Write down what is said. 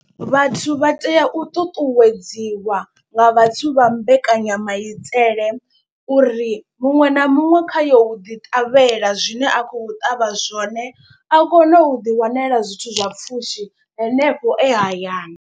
Vhathu vha tea u ṱuṱuwedziwa nga vhathu vha mbekanyamaitele uri, muṅwe na muṅwe kha yo u ḓi ṱavhela zwine a khou ṱavha zwone a kone u ḓi wanela zwithu zwa pfhushi henefho e hayani.